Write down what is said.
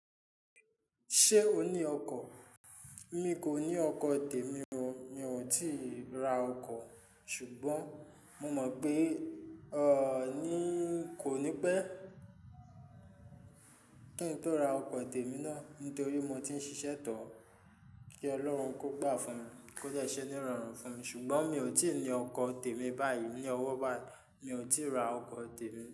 Ṣé o ní ọkọ̀? Mi kò ní ọkọ̀ tèmi o, mi ò tíì ra ọkọ̀, ṣùgbọ́n mo mọ̀ pé, o, ni, kò ní pẹ́ kí n tó ra ọkọ tèmi náà nítorí mo ti ń ṣiṣẹ́ tọ̀ kí Ọlọ́run kó gbà fún mi, kó dẹ́ṣé ní rọrùn fún mi. Ṣùgbọ́n mi ò tíì ní ọkọ tèmi báyìí ní ọwọ́ ba yi, mi ò tíì ra ọkọ tèmi.